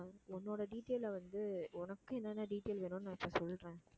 உன்னோட detail ல வந்து உனக்கு என்னென்ன detail வேணும்னு நான் இப்ப சொல்றேன்